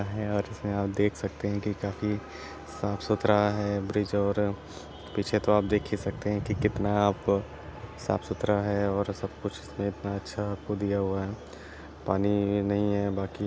हा है और इसमे आप देख सकते है की काफी साफ़सुथरा है ब्रिज और पीछे तो आप देख ही सकते है की कितना आप साफ़सुथरा है और सबकुछ इतना अच्छा आपको दिया हुआ है पानी नही है बाकी--